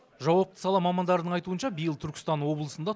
жауапты сала мамандарының айтуынша биыл түркістан облысында